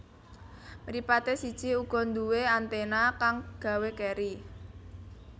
Mripaté siji uga nduwé anténa kang gawé keri